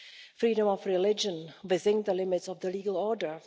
freedom of religion within the limits of the legal order